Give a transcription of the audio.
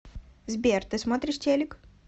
сбер ты смотришь телик